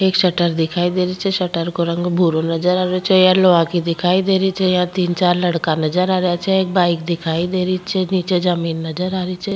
एक शटर दिखाई दे रही छे शटर को रंग भूरो नजर आ रो छे या लोहा की दिखाई दे रही छे यहाँ तीन चार लड़का नजर आ रही छे एक बाइक दिखाई दे रही छे नीच जमीन नजर आरी छ।